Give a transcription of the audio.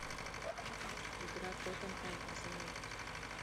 игра тоттенхэм арсенал